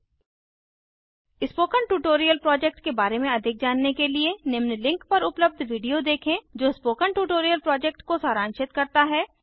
उदाहरण 19435 gt 53491 spoken tutorial project के बारे में अधिक जानने के लिए निम्न लिंक पर उपलब्ध वीडियो देखें जो स्पोकन प्रोजेक्ट ट्यूटोरियल को सारांशित करता है